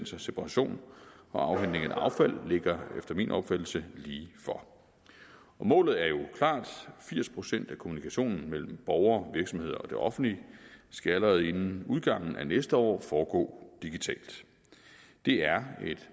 separation og afhentning af affald ligger efter min opfattelse lige for målet er jo klart firs procent af kommunikationen mellem borger virksomhed og det offentlige skal allerede inden udgangen af næste år foregå digitalt det er et